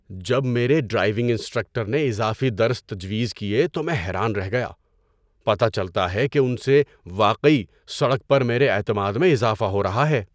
جب میرے driving instructor نے اضافی درس تجویز کیے تو میں حیران رہ گیا۔ پتہ چلتا ہے کہ ان سے واقعی سڑک پر میرے اعتماد میں اضافہ ہو رہا ہے۔